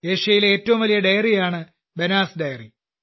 ഏഷ്യയിലെ ഏറ്റവും വലിയ ഡെയറിയാണ് ബനാസ് ഡെയറി